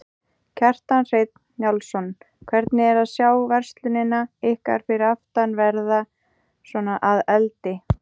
Kjartan Hreinn Njálsson: Hvernig er að sjá verslunina ykkar fyrir aftan verða svona að eldi?